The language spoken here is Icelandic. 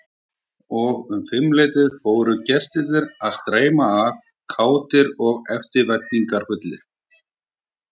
Og um fimmleytið fóru gestirnir að streyma að, kátir og eftirvæntingarfullir.